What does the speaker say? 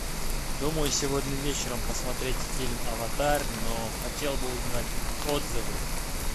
думаю сегодня вечером посмотреть фильм аватар но хотел бы узнать отзывы